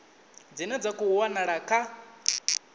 dzine dza khou wanala kha